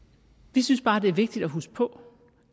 vi synes bare at det er vigtigt at huske på